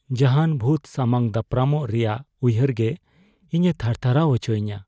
ᱡᱟᱦᱟᱱ ᱵᱷᱩᱛ ᱥᱟᱢᱟᱝ ᱫᱟᱯᱨᱟᱢᱚᱜ ᱨᱮᱭᱟᱜ ᱩᱭᱦᱟᱹᱨᱜᱮ ᱤᱧᱮ ᱛᱷᱟᱨᱛᱷᱟᱨᱟᱣ ᱟᱪᱚᱭᱤᱧᱟ ᱾